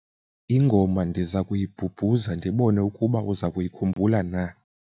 ingoma ndiza kuyibhubhuza ndibone ukuba uza kuyikhumbula na